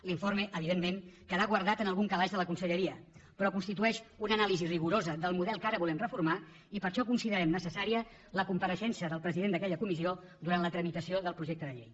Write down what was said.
l’informe evidentment quedà guardat en algun calaix de la conselleria però constitueix una anàlisi rigorosa del model que ara volem reformar i per això considerem necessària la compareixença del president d’aquella comissió durant la tramitació del projecte de llei